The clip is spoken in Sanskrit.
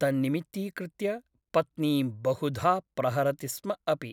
तन्निमित्तीकृत्य पत्नीं बहुधा प्रहरति स्म अपि ।